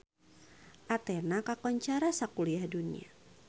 Athena kakoncara sakuliah dunya